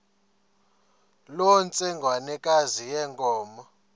loo ntsengwanekazi yenkomo